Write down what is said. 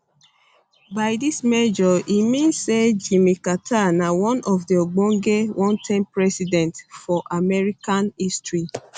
by dis measure e mean say jimmy carter na one of di ogbonge one term presidents for american history